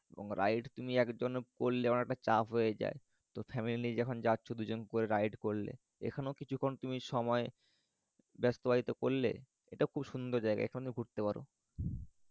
এবং ride তুমি একজন করলে চাপ হয়ে যায় তো family যখন যাচ্ছ দুজন করে ride করলে এখানেও কিছুক্ষণ তুমি সময় ব্যস্তব্যায়িত করলে এটা খুব সুন্দর জায়গা এখানেও ঘুরতে পারো